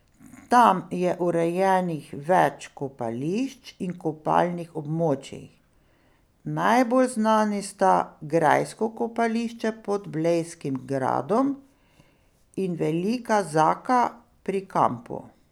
Tam je urejenih več kopališč in kopalnih območij, najbolj znani sta Grajsko kopališče pod Blejskim gradom in Velika Zaka pri kampu.